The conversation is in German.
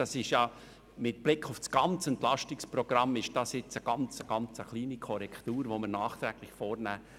Das ist mit Blick auf das ganze Entlastungsprogramm eine sehr kleine Korrektur, welche wir nachträglich vornehmen.